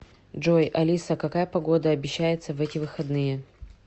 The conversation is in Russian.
джой алиса какая погода обещается в эти выходные